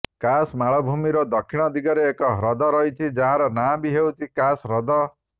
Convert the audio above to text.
କାସ୍ ମାଳଭୂମିର ଦକ୍ଷିଣ ଦିଗରେ ଏକ ହ୍ରଦ ରହିଛି ଯାହାର ନାଁ ବି ହେଉଛି କାସ୍ ହ୍ରଦ